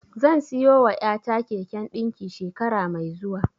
Zan siyowa ƴata keken ɗinki shekara mai zuwa.